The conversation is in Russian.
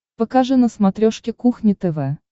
покажи на смотрешке кухня тв